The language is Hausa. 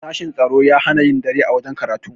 sashen tsaro ya hana yin dare a wajen karatu